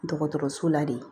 Dɔgɔtɔrɔso la de